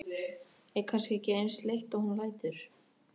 Er kannski ekki eins leitt og hún lætur.